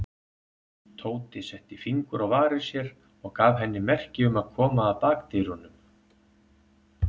Tóti setti fingur á varir sér og gaf henni merki um að koma að bakdyrunum.